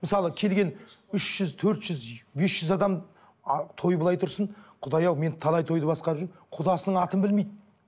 мысалы келген үш жүз төрт жүз бес жүз адам а той былай тұрсын құдай ау мен талай тойды басқарып жүрмін құдасының атын білмейді